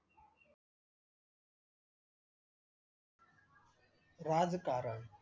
राजकारण